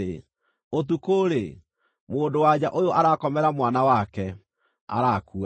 “Ũtukũ-rĩ, mũndũ-wa-nja ũyũ arakomera mwana wake, arakua.